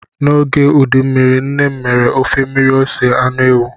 N'oge udu mmiri, nne m mere ofe mmiri ose anụ ewu.